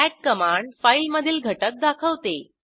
cat command file मधील घटक दाखवते